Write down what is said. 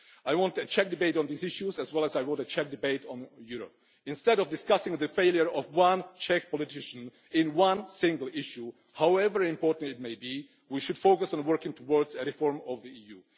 I want a Czech debate on these issues as well as a Czech debate on Europe. Instead of discussing the failure of one Czech politician in one single issue, however important it might be, we should focus on working towards a reform of the EU.